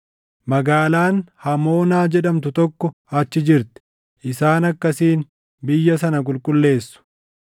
Magaalaan Hamoonaa jedhamtu tokko achi jirti; isaan akkasiin biyya sana qulqulleessu.’